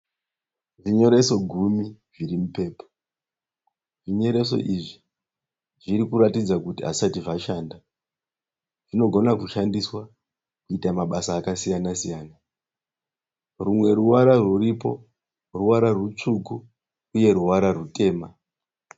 Zvinyoreso gumi zvirimupaper zvinyoreso izvi zvinoratidza kuti asisati zvachanda. Zvinigona kuchandiswa kuita mabasa akasiyana siyana rumwe ruvara riripo ruvara rusvuku uye ruvara rutema.